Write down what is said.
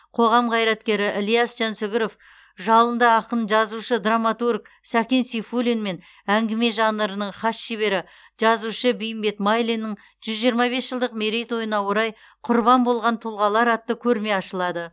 қоғам қайраткері ілияс жансүгіров жалынды ақын жазушы драматург сәкен сейфуллин мен әңгіме жанрының хас шебері жазушы бейімбет майлиннің жүз жиырма бес жылдық мерейтойына орай құрбан болған тұлғалар атты көрме ашылады